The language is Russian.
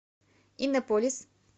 иннополис